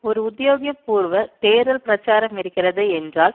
ஒரு உத்தியோக பூர்வ தேர்தல் பிரச்சாரம் இருக்கிறது என்றால்